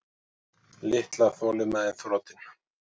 Litla þolinmæðin þrotin.